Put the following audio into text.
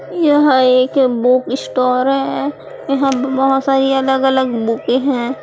यह एक book store है हम बहुत सारी अलग अलग बुके हैं।